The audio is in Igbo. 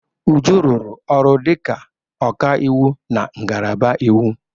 Uju rụrụ ọrụ dịka ọkaiwu na ngalaba iwu.